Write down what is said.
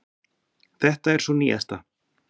Þetta er sú nýjasta.